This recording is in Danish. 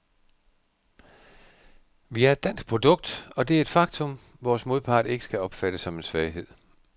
Vi er et dansk produkt, og det er et faktum, vores modpart ikke skal opfatte som en svaghed.